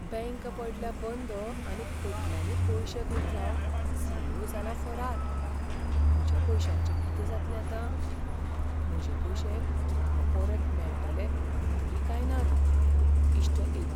Bank पडल्या बंद आनी खोटल्यांनी पयशे गुठलावन सी. ई. ओ. जाला फरार . म्हज्या पयशांचें कितें जातलें आतां? म्हजे पयशे म्हाका परत मेळटले तरी काय नात? इश्ट एक